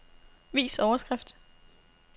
Vis overskrift.